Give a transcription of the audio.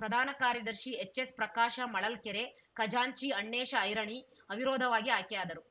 ಪ್ರಧಾನ ಕಾರ್ಯದರ್ಶಿ ಎಚ್‌ಎಸ್‌ಪ್ರಕಾಶ ಮಳಲ್ಕೆರೆ ಖಜಾಂಚಿ ಅಣ್ಣೇಶ ಐರಣಿ ಅವಿರೋಧವಾಗಿ ಆಯ್ಕೆಯಾದರು